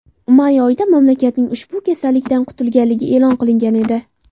May oyida mamlakatning ushbu kasallikdan qutulganligi e’lon qilingan edi.